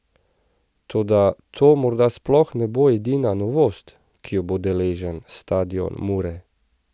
Toda to morda sploh ne bo edina novost, ki jo bo deležen stadion Mure.